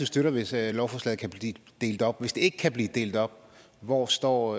støtter hvis lovforslaget kan blive delt op hvis det ikke kan blive delt op hvor står